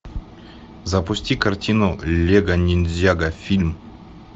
запусти картину лего ниндзяго фильм